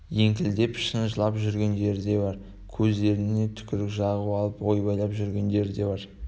еңкілдеп шын жылап жүргендері де бар көздеріне түкірік жағып алып ойбайлап жүргендер де бар